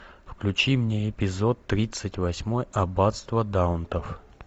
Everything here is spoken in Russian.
включи мне эпизод тридцать восьмой аббатство даунтон